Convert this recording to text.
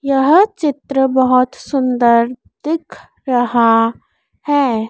यह चित्र बहुत सुंदर दिख रहा है।